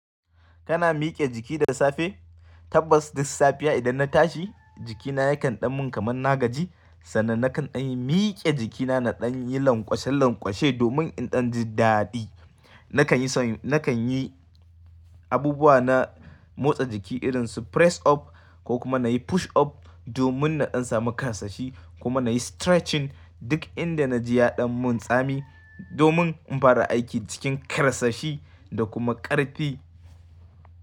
Kana mike jiki da safe? Tabbas duk safiya idan na tashi jikina yakan ɗan mun kamar na gaji sannan nakan in mike jikina na ɗan yi lanƙwashen lanƙwashe domin in ɗan ji daɗi. Nakan yi nakan yi abubuwa na motsa jiki irin su press up ko kuma na yi push up domin na ɗan samu ƙarsashi kuma na yi stretching duk inda na ji ya ɗan mun tsami domin in fara aiki jikin ƙarsashi da kuma ƙarfi.